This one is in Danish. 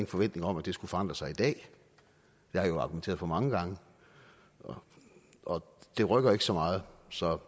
forventninger om at det skulle forandre sig i dag jeg har jo argumenteret for det mange gange og det rykker ikke så meget så